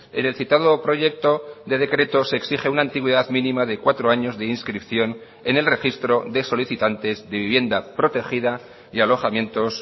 en el citado proyecto de decreto se exige una antigüedad mínima de cuatro años de inscripción en el registro de solicitantes de vivienda protegida y alojamientos